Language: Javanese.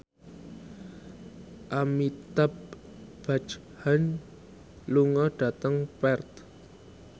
Amitabh Bachchan lunga dhateng Perth